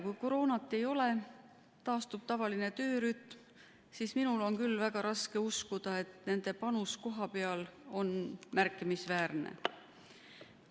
Kui koroonat ei ole ja taastub tavaline töörütm, siis on minul küll väga raske uskuda, et nende panus kohapeal on märkimisväärne.